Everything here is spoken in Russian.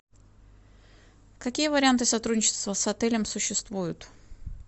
какие варианты сотрудничества с отелем существуют